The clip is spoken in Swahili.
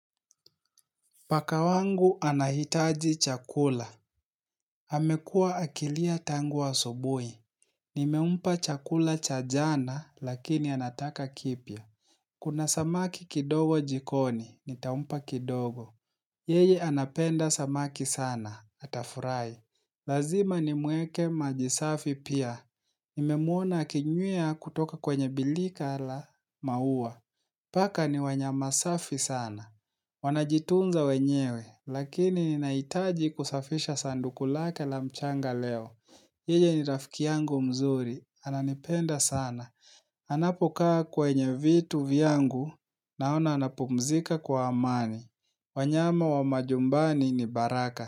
Paka wangu anahitaji chakula. Amekuwa akilia tangu wa asubuhi. Nimempa chakula cha jana, lakini anataka kipya. Kuna samaki kidogo jikoni, nitampa kidogo. Yeye anapenda samaki sana, atafurahi. Lazima nimueke maji safi pia. Nimemwona akinywea kutoka kwenye birika la maua. Paka ni wanyama safi sana. Wanajitunza wenyewe, lakini ninahitaji kusafisha sanduku lake la mchanga leo. Yeye ni rafiki yangu mzuri, ananipenda sana. Anapokaa kwenye vitu vyangu, naona anapumzika kwa amani. Wanyama wa majumbani ni baraka.